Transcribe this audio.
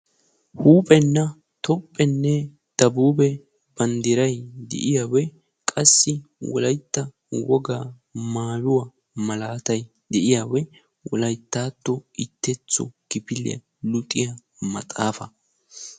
Huuphenne tophphenne Dabuube banddiray de'iyagee qassi wolayitta wogaa mayuwa malaatay de'iyage wolayittatto luxetta maxxaafaa ishshashantta kifiliya